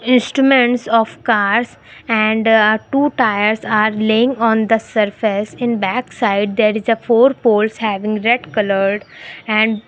instruments of cars and uh two tires are laying on the surface in back side there is a four poles having red coloured and --